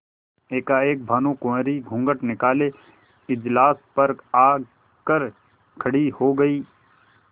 एकाएक भानुकुँवरि घूँघट निकाले इजलास पर आ कर खड़ी हो गयी